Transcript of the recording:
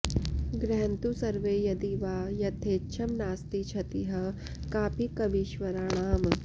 गृहन्तु सर्वे यदि वा यथेच्छं नास्ति क्षतिः कापि कवीश्वराणाम्